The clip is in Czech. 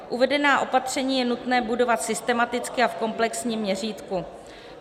Uvedená opatření je nutné budovat systematicky a v komplexním měřítku.